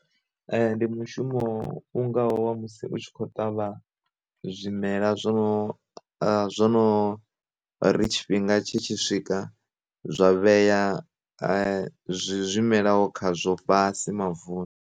E, ndi mushumo u ngaho wa musi u tshi khou ṱavha zwimela zwo zwono ri tshifhinga tshi tshi swika zwa vhea zwimela ho kha zwo fhasi mavuni.